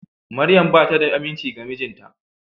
Maryam bata da aminci ga mijinta.